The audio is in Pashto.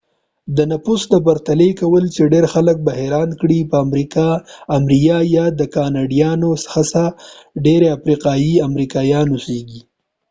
د نفوس د پرتلې کول چې ډیر خلک به حیران کړي په امریا کې د کاناډایانو څخه ډیر افریقایي امریکایان اوسېږي